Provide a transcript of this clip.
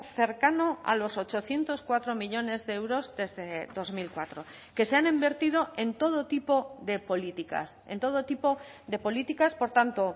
cercano a los ochocientos cuatro millónes de euros desde dos mil cuatro que se han invertido en todo tipo de políticas en todo tipo de políticas por tanto